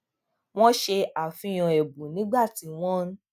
wọn ṣe àfihàn ẹbùn nígbà tí wọn ń